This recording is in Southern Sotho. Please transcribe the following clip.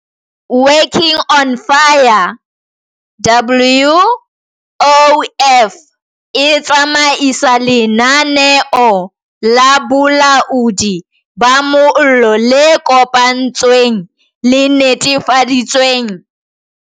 Working on Fire, WOF, e tsamaisa lenaneo la bolaodi ba mollo le kopanetsweng le netefaditseng hore batjha ba bangata ba tswang metseng e tinngweng menyetla ba fumana mosebetsi.